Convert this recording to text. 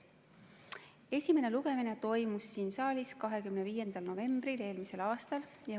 Esimene lugemine toimus siin saalis 25. novembril eelmisel aastal.